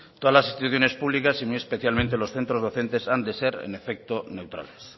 todas las instituciones públicas y muy especialmente los centros docentes han de ser en efecto neutrales